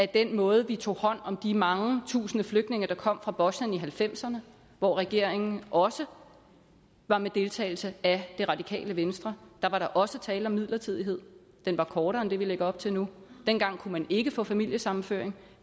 den måde vi tog hånd om de mange tusinde flygtninge der kom fra bosnien i nitten halvfemserne hvor regeringen også var med deltagelse af det radikale venstre da var der også tale om midlertidighed den var kortere end det vi lægger op til nu dengang kunne man ikke få familiesammenføring